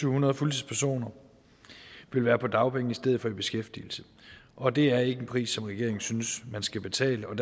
hundrede fuldtidspersoner vil være på dagpenge i stedet for i beskæftigelse og det er ikke en pris som regeringen synes man skal betale